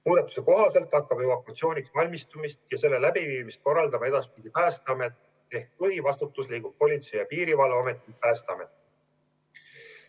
Muudatuse kohaselt hakkab evakuatsiooniks valmistumist ja selle läbiviimist korraldama edaspidi Päästeamet ehk põhivastutus liigub Politsei- ja Piirivalveametilt Päästeametile.